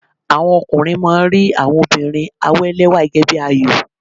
Àwọn ọkùnrin máa ń rí àwọn obìnrin àwélẹ́wà gẹ́gẹ́ bí àyò.